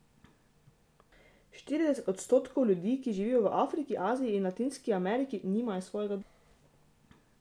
Štirideset odstotkov ljudi, ki živijo v Afriki, Aziji ali Latinski Ameriki, nima svojega doma.